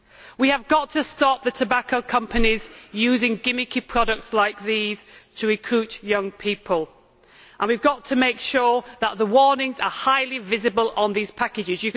We have got to stop the tobacco companies using gimmicky products like these to recruit young people and we have to make sure that the warnings are highly visible on these packages.